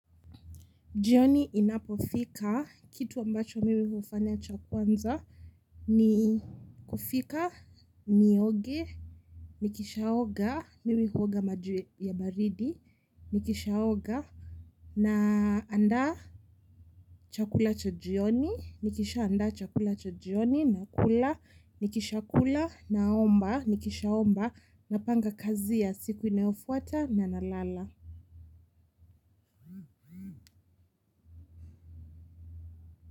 Jioni inapofika, kitu ambacho mimi hufanya cha kwanza ni kufika, nioge, nikishaoga, mimi huoga maji ya baridi. Nikishaoga, naandaa chakula cha jioni. Nikishaandaa chakula cha jioni, nakula. Nikishakula, naomba. Nikishaomba, napanga kazi za siku inayofuata na kulala.